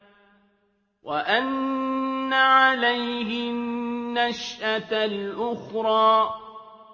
وَأَنَّ عَلَيْهِ النَّشْأَةَ الْأُخْرَىٰ